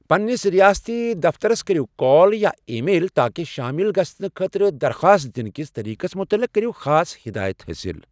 پنٛنس ریاستی دفترس کرِو کال یا ای میل تاکہ شٲمِل گژھنہٕ خٲطرٕ درخاص دِنکِس طٔریقس مُتعلق کرِو خاص ہٮ۪دایت حٲصِل۔